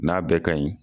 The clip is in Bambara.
N'a bɛɛ ka ɲi